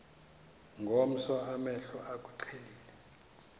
ngomso amehlo akuqhelile